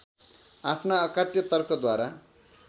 आफ्ना अकाट्य तर्कद्वारा